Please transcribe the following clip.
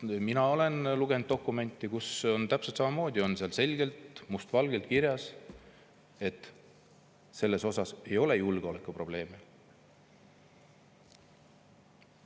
Ma olen lugenud dokumenti, kus on täpselt samamoodi selgelt, must valgel kirjas, et selle puhul ei ole julgeolekuprobleeme.